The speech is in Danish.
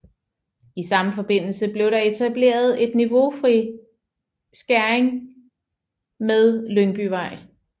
I samme forbindelse blev der etableret en niveaufri skæring med Lyngbyvej